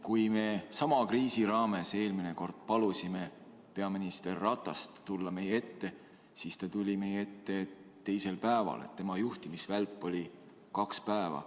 Kui me sama kriisi raames eelmine kord palusime peaminister Ratast tulla meie ette, siis ta tuli meie ette teisel päeval, tema juhtimisvälp oli kaks päeva.